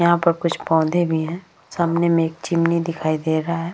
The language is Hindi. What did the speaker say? यहां पर कुछ पौधे भी हैं सामने में एक चिमनी दिखाई दे रहा है।